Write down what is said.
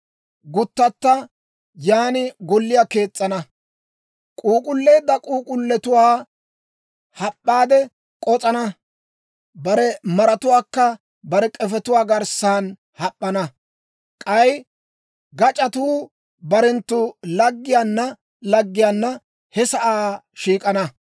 Gutatta yan golliyaa kees's'ana; k'uuk'k'ulleedda k'uuk'k'ulletuwaa hap'p'aade k'os'ana. Bare maratuwaakka bare k'efetuwaa garssan hap'p'ana; k'ay gac'etuu barenttu laggiyaanna laggiyaanna he sa'aa shiik'ana.